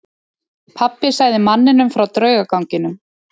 Pabbi sagði manninum frá draugaganginum.